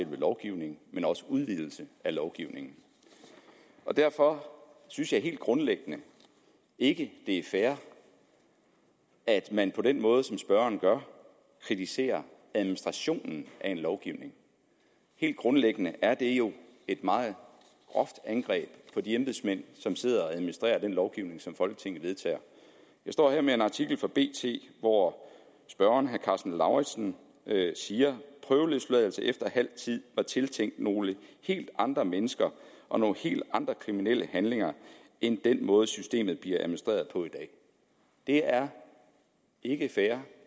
lovgivningen men også udvidelsen af lovgivningen derfor synes jeg helt grundlæggende ikke at det er fair at man på den måde som spørgeren gør kritiserer administrationen af en lovgivning helt grundlæggende er det jo et meget groft angreb på de embedsmænd som sidder og administrerer den lovgivning som folketinget vedtager jeg står her med en artikel fra bt hvor spørgeren herre karsten lauritzen siger prøveløsladelse efter halv tid var tiltænkt nogle helt andre mennesker og nogle helt andre kriminelle handlinger end den måde systemet bliver administreret på i dag det er ikke fair